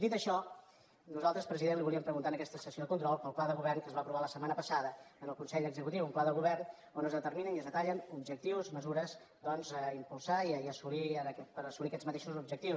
dit això nosaltres president li volíem preguntar en aquesta sessió de control pel pla de govern que es va aprovar la setmana passada en el consell executiu un pla de govern on es determinen i es detallen objectius mesures doncs a impulsar per assolir aquests matei·xos objectius